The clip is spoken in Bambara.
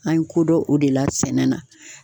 An ye kodɔn o de la sɛnɛ na.